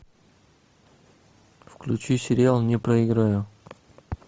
включи сериал не проиграю